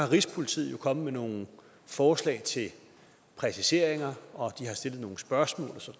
rigspolitiet kommet med nogle forslag til præciseringer og de har stillet nogle spørgsmål